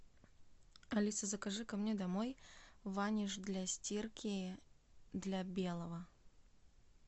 алиса закажи ко мне домой ваниш для стирки для белого